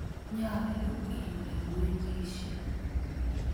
Nyalu ilewenisye.